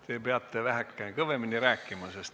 Te peate väheke kõvemini rääkima.